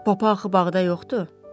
Papa axı bağda yoxdur?